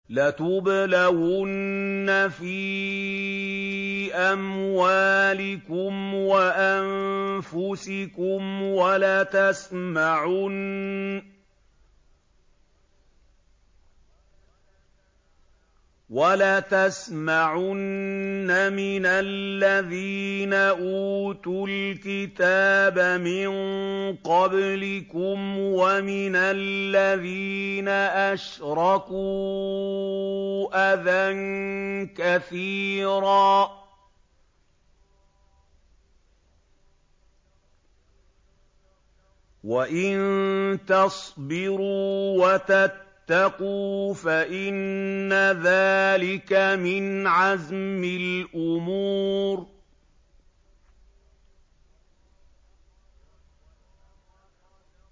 ۞ لَتُبْلَوُنَّ فِي أَمْوَالِكُمْ وَأَنفُسِكُمْ وَلَتَسْمَعُنَّ مِنَ الَّذِينَ أُوتُوا الْكِتَابَ مِن قَبْلِكُمْ وَمِنَ الَّذِينَ أَشْرَكُوا أَذًى كَثِيرًا ۚ وَإِن تَصْبِرُوا وَتَتَّقُوا فَإِنَّ ذَٰلِكَ مِنْ عَزْمِ الْأُمُورِ